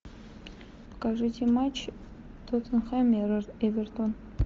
покажите матч тоттенхэм эвертон